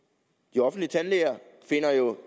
de offentlige tandlæger finder jo